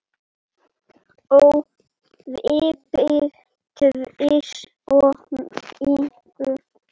Og veiddi tvist og NÍU.